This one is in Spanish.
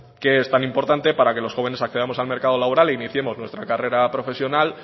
que es tan importante para que los jóvenes accedamos al mercado laboral e iniciemos nuestra carrera profesional